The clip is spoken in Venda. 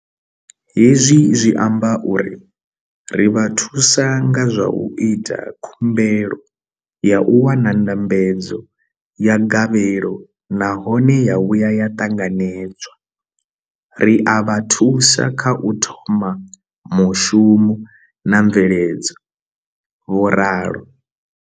Hezwi zwi amba uri ri vha thusa nga zwa u ita khumbelo ya u wana ndambedzo ya gavhelo nahone ya vhuya ya ṱanganedzwa, ri a vha thusa kha u thoma mushumo na mveledzo, vho ralo.